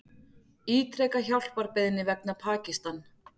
Ítreka hjálparbeiðni vegna Pakistan